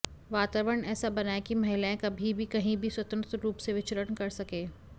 वातावरण ऐसा बनाए कि महिलाएँ कभी भी कहीं भी स्वतंत्र रूप से विचरण कर सके